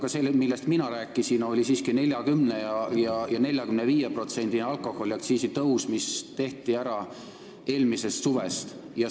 Aga see, millest mina rääkisin, oli siiski 40%-line ja 45%-line alkoholiaktsiisi tõus, mis tehti ära alates eelmisest suvest.